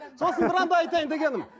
сосын да айтайын дегенім